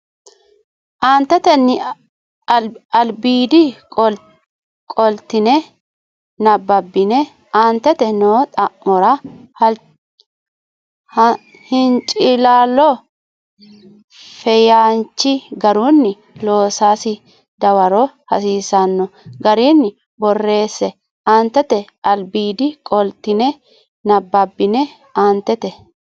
Aantete albiidi qoltine nabbabbine aantete noo xa mora hincilaallo feyaanchi garunni loosasi dawaro hasiisanno garinni borreesse Aantete albiidi qoltine nabbabbine aantete.